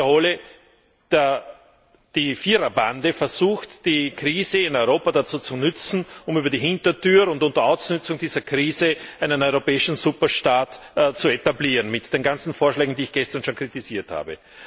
Nun, ich wiederhole, die Viererbande versucht die Krise in Europa dazu zu nützen, um über die Hintertür und unter Ausnützung dieser Krise einen europäischen Superstaat zu etablieren mit den ganzen Vorschlägen, die ich gestern schon kritisiert habe.